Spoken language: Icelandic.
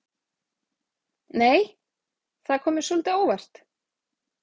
Nei! Það kom mér svolítið á óvart!